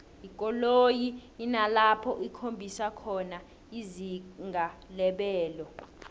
ikoloyi inalapho ikhombisa khona izinga lebelo